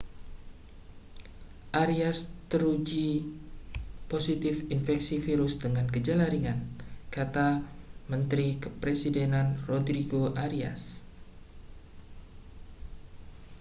arias teruji positif terinfeksi virus dengan gejala ringan kata mentari kepresidenan rodrigo arias